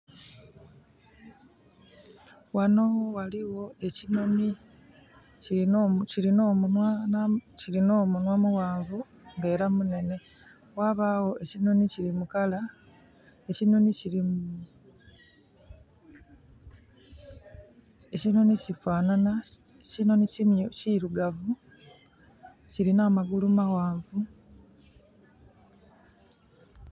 Wano waliwo ekinoni kirina omunwa muwanvu nga era munene. Wabawo ekinoni kiri mukala, ekinoni kiri....ekinoni kifanana. Ekinoni kirugavu, kirina magulu mawanvu